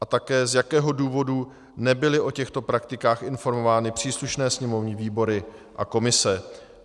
A také, z jakého důvodu nebyly o těchto praktikách informovány příslušné sněmovní výbory a komise.